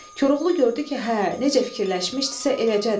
Koroğlu gördü ki, hə, necə fikirləşmişdisə eləcədi.